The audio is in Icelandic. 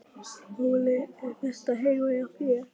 Óli: Er þetta heima hjá þér?